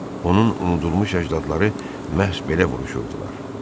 Onun unudulmuş əcdadları məhz belə vuruşurdular.